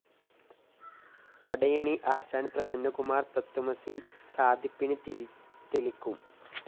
പടയണി ആശാന്‍ പ്രസന്നകുമാര്‍ തത്വമസി സാധിപ്പിന് തിരി തെളിക്കും